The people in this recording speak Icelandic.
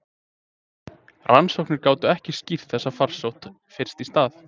Rannsóknir gátu ekki skýrt þessa farsótt fyrst í stað.